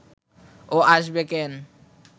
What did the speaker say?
ও আসবে কেন